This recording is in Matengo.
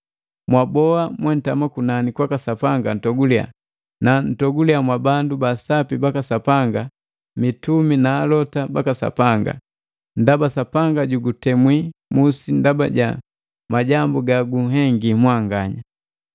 “Mwaboa mwentama kunani kwaka Sapanga ntogulia, na ntogulia mwabandu ba sapi baka Sapanga mitumi na alota baka Sapanga, ndaba Sapanga jugutemwi musi ndaba ja majambu gagunhengi mwanganya!”